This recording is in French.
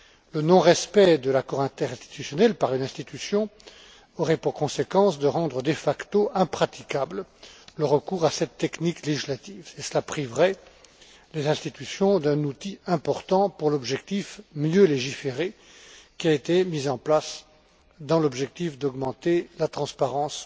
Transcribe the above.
Le non respect de l'accord interinstitutionnel par une institution aurait pour conséquence de rendre de facto impraticable le recours à cette technique législative et cela priverait les institutions d'un outil important pour l'objectif Mieux légiférer qui a été mis en place dans l'objectif d'augmenter la transparence